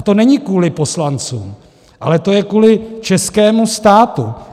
A to není kvůli poslancům, ale to je kvůli českému státu.